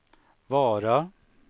Vara